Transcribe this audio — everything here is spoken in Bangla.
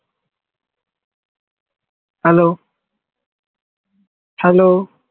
hello hello